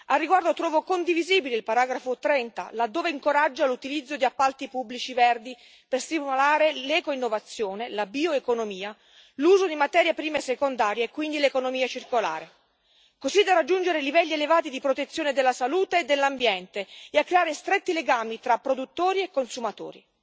Al riguardo trovo condivisibile il paragrafo 30, laddove si incoraggia l'utilizzo di appalti pubblici verdi per stimolare l'ecoinnovazione, la bioeconomia, l'uso di materie prime secondarie e quindi l'economia circolare, così da raggiungere livelli elevati di protezione della salute e dell'ambiente e creare stretti legami tra produttori e consumatori.